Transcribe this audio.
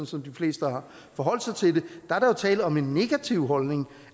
som de fleste har forholdt sig til det er der jo tale om en negativ holdning